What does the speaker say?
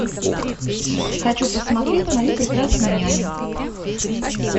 хочу посмотреть мою прекрасную няню